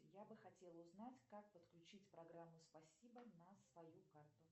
я бы хотела узнать как подключить программу спасибо на свою карту